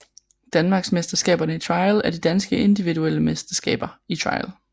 Danmarksmesterskaberne i Trial er de danske individuelle mesterskaber i trial